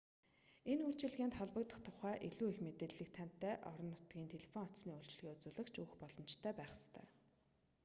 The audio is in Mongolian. энэ үйлчилгээнд холбогдох тухай илүү их мэдээллийг танай орон нутгийн телефон утасны үйлчилгээ үзүүлэгч өгөх боломжтой байх ёстой